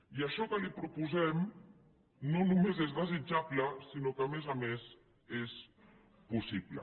i això que li proposem no només és desitjable sinó que a més a més és possible